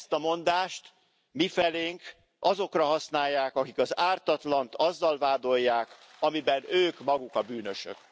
Ezt a mondást mifelénk azokra használják, akik az ártatlant azzal vádolják, amiben ők maguk a bűnösök.